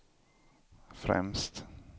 främst